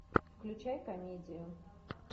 включай комедию